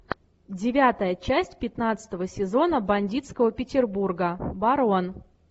девятая часть пятнадцатого сезона бандитского петербурга барон